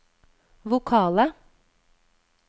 vokale